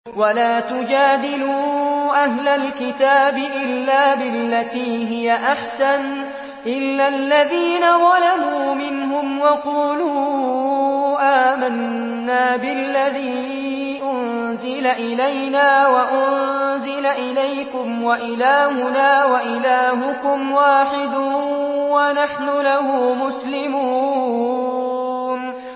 ۞ وَلَا تُجَادِلُوا أَهْلَ الْكِتَابِ إِلَّا بِالَّتِي هِيَ أَحْسَنُ إِلَّا الَّذِينَ ظَلَمُوا مِنْهُمْ ۖ وَقُولُوا آمَنَّا بِالَّذِي أُنزِلَ إِلَيْنَا وَأُنزِلَ إِلَيْكُمْ وَإِلَٰهُنَا وَإِلَٰهُكُمْ وَاحِدٌ وَنَحْنُ لَهُ مُسْلِمُونَ